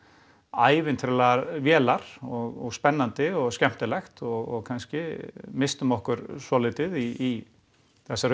ævintýralegar vélar og spennandi og skemmtilegt og kannski misstum okkur svolítið í þessari